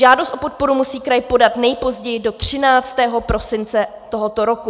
Žádost o podporu musí kraj podat nejpozději do 13. prosince tohoto roku.